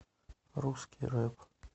русский рэп